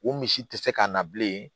O misi tɛ se ka na bilen